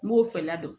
N b'o fɛ ladon